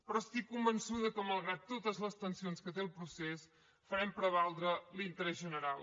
però estic convençuda que malgrat totes les tensions que té el procés farem prevaldre l’interès general